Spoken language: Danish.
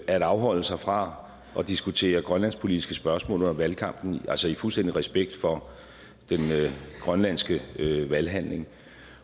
at afholde sig fra at diskutere grønlandspolitiske spørgsmål under valgkampen i fuldstændig respekt for den grønlandske valghandling